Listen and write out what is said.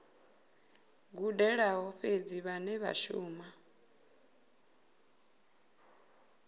gudelaho fhedzi vhane vha shumisa